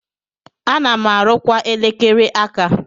Ana m arụkwa elekere aka.